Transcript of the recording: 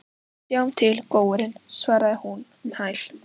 Við sjáum til, góurinn, svarar hún um hæl.